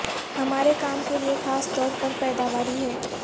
ہمارے کام کے لئے خاص طور پر پیداواری ہے